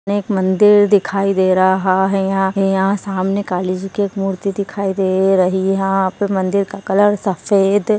यहां एक मंदिर दिखाई दे रहा है यहां यहां सामने कालीजीकी एक मूर्ति दिखाई दे रही है यहां पर मंदिर का कलर सफेद --